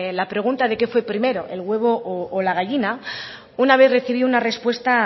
la pregunta de qué fue primero el huevo o la gallina una vez recibí una respuesta